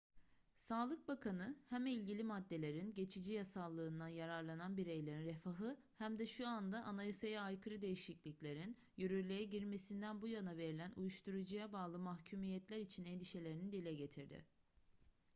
sağlık bakanı hem ilgili maddelerin geçici yasallığından yararlanan bireylerin refahı hem de şu anda anayasaya aykırı değişikliklerin yürürlüğe girmesinden bu yana verilen uyuşturucuya bağlı mahkumiyetler için endişelerini dile getirdi